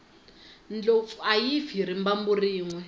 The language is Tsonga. ndlopfu ayi fi hi rimbambu rinwe